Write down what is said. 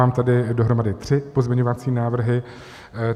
Mám tady dohromady tři pozměňovací návrhy.